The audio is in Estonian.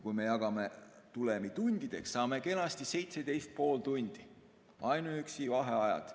Kui me jagame tulemi tundideks, saame kenasti 17 ja pool tundi, see on ainuüksi vaheajad.